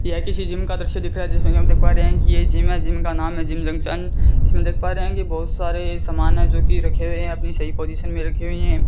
यह किसी जिम का दृश्य दिख रहा है जिसमे की हम देख पा रहे है की ये जिम है जिम का नाम है जिम जंक्शन इसमें देख पा रहे बहुत सारे सामान है जो की रखे हुए है अपनी सही पोजीशन में रखी हुई है।